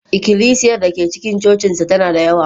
ikilisiyar da ke cikin cocinsa tana da yawa